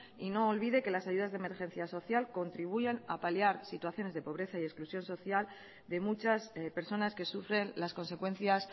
y no olvide que las ayudas de emergencia social contribuyen a paliar situaciones de pobreza y exclusión social de muchas personas que sufren las consecuencias